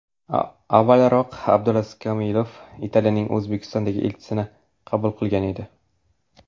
Avvalroq Abdulaziz Komilov Italiyaning O‘zbekistondagi elchisini qabul qilgan edi .